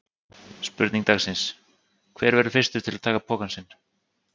Spurning dagsins: Hver verður fyrstur til að taka pokann sinn?